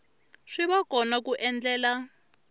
swi va kona ku endlela